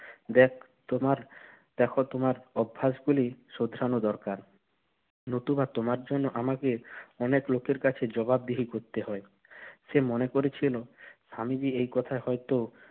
দেখ তোমার~ দেখো তোমার অভ্যাসগুলি শোধরানো দরকার। নতুবা তোমার জন্য আমাকে অনেক লোকের কাছে জবাবদিহি করতে হয়। সে মনে করেছিল, স্বামীজি এই কথায় হয়তো